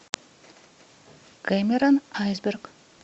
кэмерон айсберг